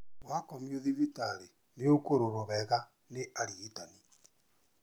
Wakomio thibitarĩ nĩ ũkũrorwo wega nĩ arigitani